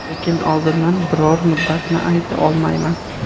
Lekin oldindan biror muddatni ayta olmayman.